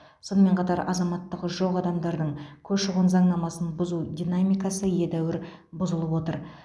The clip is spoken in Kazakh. сонымен қатар азаматтығы жоқ адамдардың көші қон заңнамасын бұзу динамикасы едәуір бұзылып отыр